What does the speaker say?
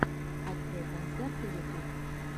открой концерты ютуб